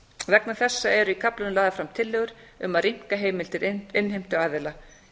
vegna þessa eru í kaflanum lagðar fram tillögur um að rýmka heimildir innheimtuaðila